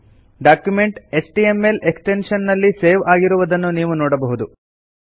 document HTML extension ನಲ್ಲಿ save ಆಗಿರುವುದನ್ನು ನೀವು ನೋಡಬಹುದು